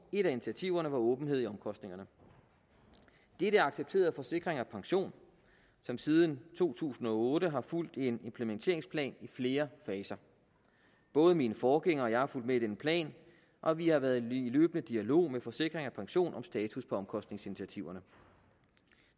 et af initiativerne var åbenhed om omkostningerne dette er accepteret af forsikring pension som siden to tusind og otte har fulgt en implementeringsplan i flere faser både min forgænger og jeg har fulgt med i denne plan og vi har været i løbende dialog med forsikring pension om status på omkostningsinitiativerne